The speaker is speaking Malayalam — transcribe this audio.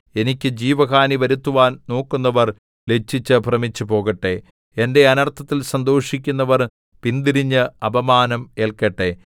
എനിക്ക് ജീവഹാനി വരുത്തുവാൻ നോക്കുന്നവർ ലജ്ജിച്ച് ഭ്രമിച്ചുപോകട്ടെ എന്റെ അനർത്ഥത്തിൽ സന്തോഷിക്കുന്നവർ പിന്തിരിഞ്ഞ് അപമാനം ഏല്ക്കട്ടെ